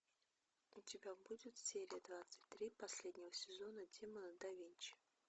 у тебя будет серия двадцать три последнего сезона демоны да винчи